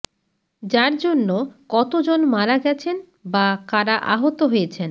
যার জন্য কত জন মারা গেছেন বা কারা আহত হয়েছেন